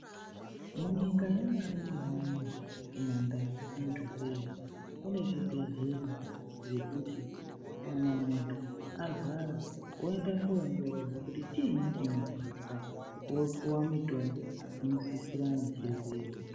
Munyika yamarure kune zvibhedhlera zvekuti kana muntu arwara anoenda kunovhenekwa kuti chiinyi chinorwadza opuwa mutombo unosisirana nechirwere